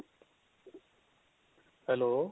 hello